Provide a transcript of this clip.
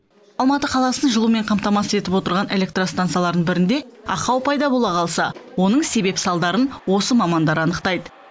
алматы қаласын жылумен қамтамасыз етіп отырған электростансалардың бірінде ақау пайда бола қалса оның себеп салдарын осы мамандар анықтайды